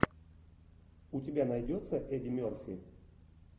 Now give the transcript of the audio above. у тебя найдется эдди мерфи